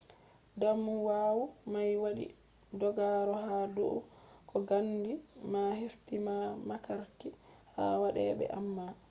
damuwa mai wadi dogaro ha dou ko gandi ma hefti ha mafarki ha wade be amma